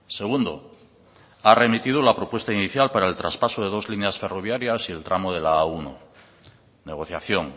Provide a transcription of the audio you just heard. segundo ha remitido la propuesta inicial para el traspaso de dos líneas ferroviarias y el tramo de la a uno negociación